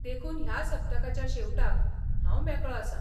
देखून ह्या सप्तकाच्या शेवटाक हांव मेकळो आसा.